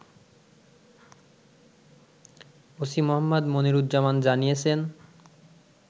OC Mohammad Moniruzzaman জানিয়েছেন